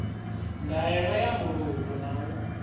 ndaela ya mbulungo na u